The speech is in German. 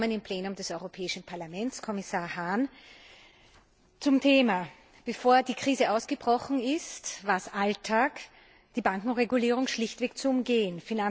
Willkommen im Plenum des Europäischen Parlaments, Kommissar Hahn! Zum Thema Bevor die Krise ausgebrochen ist, war es Alltag, die Bankenregulierung schlichtweg zu umgehen.